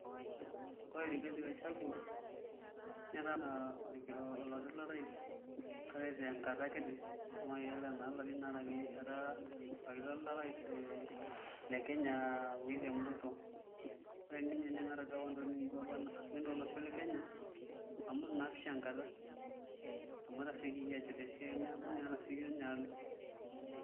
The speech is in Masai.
Ore Rigathi Gachagua netaa oloti lorais kake tenakata kiti amu mayiolo enaa ilarin aare ake etaaorkiti lorais le Kenya le William Ruto, ore ninye nemeeta duo nai ntokitin kumok naataasa tolosho le Kenya amu itu isho enkata amu etasiokoki aajut tesiai neeku etasioka naa ninye alo.